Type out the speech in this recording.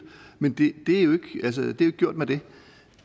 men det er jo ikke gjort med det